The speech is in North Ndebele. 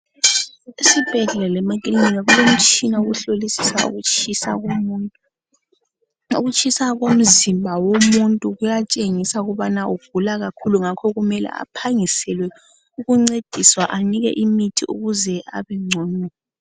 Esibhedlela lemakilinika kulomtshina wokuhlolisisa ukutshisa komuntu ukutshisa komzimba womuntu kuyatshengisa ukubana ugula kakhulu ngakho kumele aphangiselwe ukuncediswa anikwe imithi ukuze abengcono.